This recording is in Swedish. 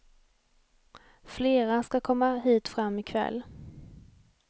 Flera ska komma hit fram i kväll.